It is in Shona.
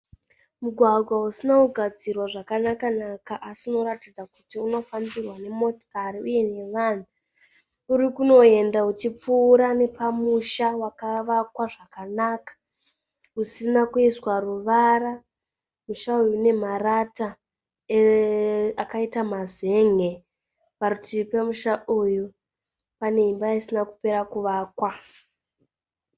Mugwagwa usina kugadzirwa zvakanaka-naka asi unoratidza kuti unofambirwa nemotokari uye nevanhu. Uri kunoenda uchipfuura nepamusha wakavakwa zvakanaka usina kuiswa ruvara. Musha uyu unemarata akaita mazen'e. Parutivi pemusha uyu pane imba isina kupera kuvakwa.